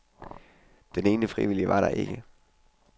Den ene frivillige var der ikke.